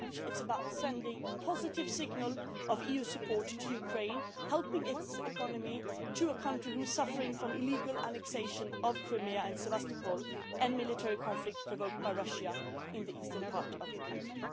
It is about sending a positive signal of EU support to Ukraine, helping the economy of a country which is suffering from the illegal annexation of Crimea and Sevastopol and military conflict provoked by Russia in the eastern part of the country.